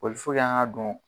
an ka dɔn